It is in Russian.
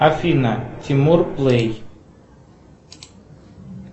афина тимур плей